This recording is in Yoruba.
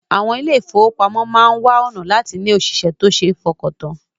Àwọn ilé-ìfowópamọ́ máa wá ọ̀nà láti ní òṣìṣẹ́ tó ṣe fọkàntàn